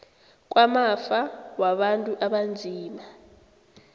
kwamafa wabantu abanzima